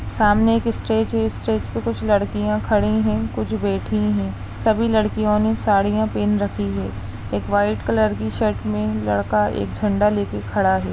सामने एक स्टेज है स्टेज पे कुछ लड़कियां खड़ी हैं कुछ बैठी हैं सभी लड़कियों ने साड़ियां पहन रखी हैं एक व्हाइट कलर की शर्ट मे लड़का एक झंडा लेकर खड़ा है।